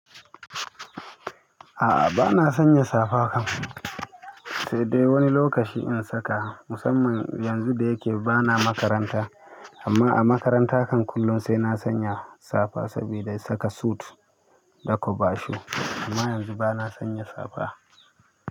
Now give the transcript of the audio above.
A'a bana sanya safa kam, sai dai wani lokaci in saka, musamman yanzu da yake bana makaranta. Amma a makaranta kan kullum sai na sanya safa saboda saka sut da kwabashu. Amma yanzu bana sanya safa.